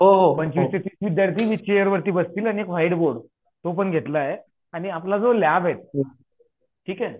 हो पंचवीस ते तीस विध्यार्थी नीट चेरवर बसतील आणि एक व्हाईट बोर्ड तो पण घेतला आहे आणि आपला जो लॅब आहे ठीक हे